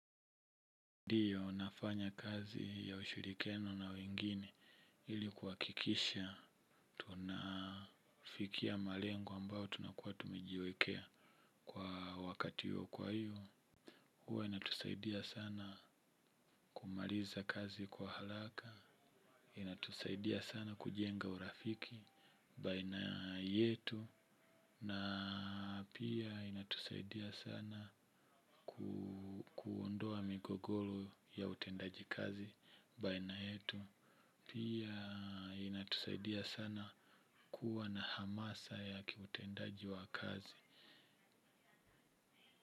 Ndiyo nafanya kazi ya ushirikiano na wengine ili kuhakikisha tunafikia malengo ambayo tunakuwa tumejiwekea. Kwa wakati huo kwa hivyo huwa inatusaidia sana kumaliza kazi kwa haraka. Inatusaidia sana kujenga urafiki baina yetu. Na pia inatusaidia sana kuondoa migogoro ya utendaji kazi baina yetu. Pia inatusaidia sana kuwa na hamasa ya kiutendaji wa kazi.